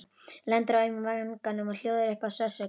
Lendir á auma vanganum og hljóðar upp af sársauka.